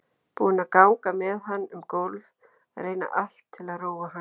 Búin að ganga með hann um gólf, reyna allt til að róa hann.